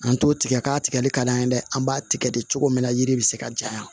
An t'o tigɛ k'a tigɛli ka d'an ye dɛ an b'a tigɛ de cogo min na yiri bɛ se ka janya